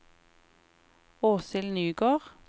Åshild Nygård